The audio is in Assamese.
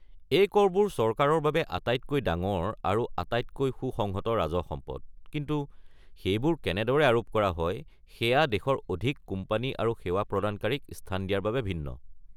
এই কৰবোৰ চৰকাৰৰ বাবে আটাইতকৈ ডাঙৰ আৰু আটাইতকৈ সুসংগত ৰাজহ সম্পদ কিন্তু সেইবোৰ কেনেদৰে আৰোপ কৰা হয় সেয়া দেশৰ অধিক কোম্পানী আৰু সেৱা প্ৰদানকাৰীক স্থান দিয়াৰ বাবে ভিন্ন।